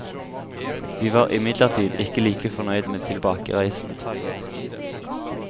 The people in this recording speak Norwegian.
Vi var imidlertid ikke like fornøyd med tilbakereisen.